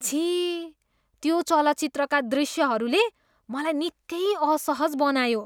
छि! त्यो चलचित्रका दृश्यहरूले मलाई निकै असहज बनायो।